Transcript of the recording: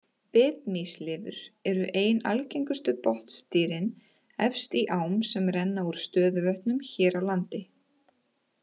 Bitmýslirfur eru ein algengustu botndýrin efst í ám sem renna úr stöðuvötnum hér á landi.